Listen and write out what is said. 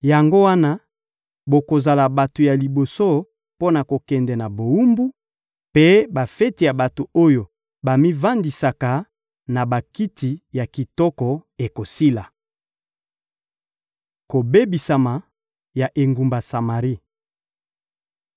Yango wana bokozala bato ya liboso mpo na kokende na bowumbu, mpe bafeti ya bato oyo bamivandisaka na bakiti ya kitoko ekosila. Kobebisama ya engumba Samari